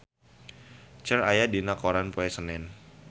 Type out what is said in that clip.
Cher aya dina koran poe Senen